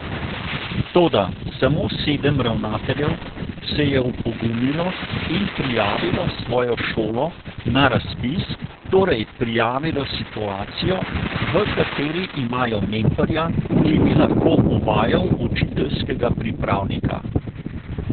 Toda samo sedem ravnateljev se je opogumilo in prijavilo svojo šolo na razpis, torej prijavilo situacijo, v kateri imajo mentorja, ki bi lahko uvajal učiteljskega pripravnika.